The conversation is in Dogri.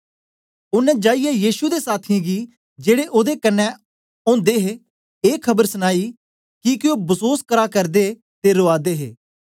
ओनें जाईयै यीशु दे साथियें गी जेड़े ओदे कन्ने ओदे हे ए खबर सनाई किके ओ बसोस करा करदे ते रोआ दे हे